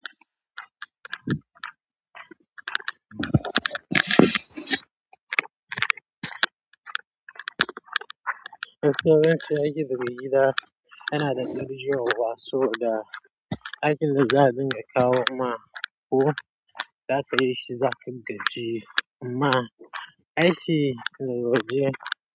Gaskiya, ba zan ce aikin wuri ba yana da gaji yarwa yauwa, saboda aikin da za dinga kawo ma ko za ka yi shi za ka gaji, amma aiki na dole.